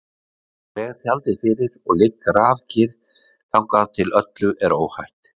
Ég dreg tjaldið fyrir og ligg grafkyrr þangað til öllu er óhætt.